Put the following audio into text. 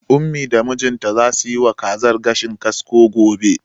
Ummi da mijinta zasu yiwa kazar gashin kasko gobe.